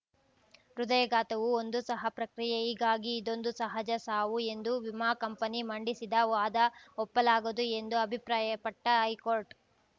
ಹೃದಯಘಾತವು ಒಂದು ಸಹ ಪ್ರಕ್ರಿಯೆ ಹೀಗಾಗಿ ಇದೊಂದು ಸಹಜ ಸಾವು ಎಂದು ವಿಮಾ ಕಂಪನಿ ಮಂಡಿಸಿದ ವಾದ ಒಪ್ಪಲಾಗದು ಎಂದು ಅಭಿಪ್ರಾಯಪಟ್ಟಹೈಕೋರ್ಟ್‌